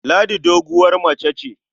Ladi doguwar mace ce.